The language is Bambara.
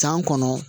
San kɔnɔ